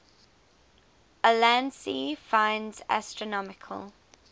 ulansey finds astronomical